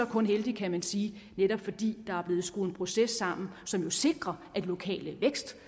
kun heldigt kan man sige netop fordi der er blevet skruet en proces sammen som jo sikrer at lokale